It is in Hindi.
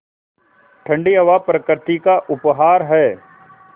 ठण्डी हवा प्रकृति का उपहार है